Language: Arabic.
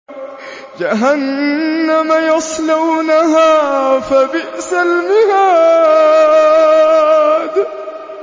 جَهَنَّمَ يَصْلَوْنَهَا فَبِئْسَ الْمِهَادُ